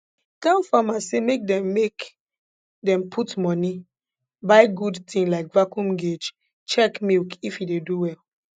tell farmers say make dem make dem put moni buy good tin like vacuum guage check milk if e dey do well